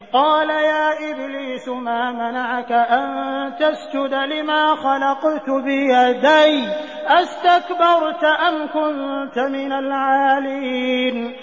قَالَ يَا إِبْلِيسُ مَا مَنَعَكَ أَن تَسْجُدَ لِمَا خَلَقْتُ بِيَدَيَّ ۖ أَسْتَكْبَرْتَ أَمْ كُنتَ مِنَ الْعَالِينَ